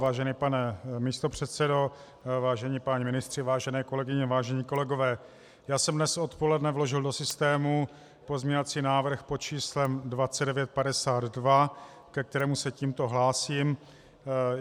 Vážený pane místopředsedo, vážení páni ministři, vážené kolegyně, vážení kolegové, já jsem dnes odpoledne vložil do systému pozměňovací návrh pod číslem 2952, ke kterému se tímto hlásím.